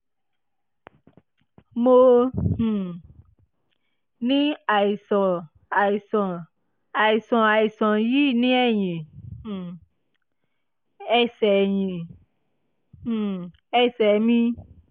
mo um ní àìsàn àìsàn àìsàn àìsàn yìí ní ẹ̀yìn um ẹ̀sẹ̀ ẹ̀yìn um ẹ̀sẹ̀ mi